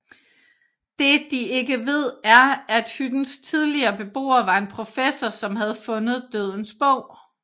Det de ikke ved er at hyttens tidligere beboer var en professor som havde fundet Dødens bog